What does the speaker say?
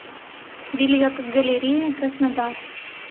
билет галерея краснодар